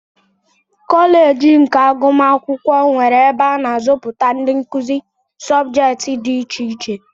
Kọleeji nke agụmakwụkwọ nwere ebe a na azụpụta ndị nkụzi subjeeti dị iche iche.